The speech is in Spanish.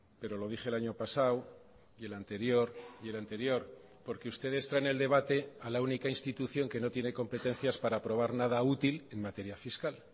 pero lo dije el año pasado y el anterior y el anterior porque ustedes traen el debate a la única institución que no tiene competencias para aprobar nada útil en materia fiscal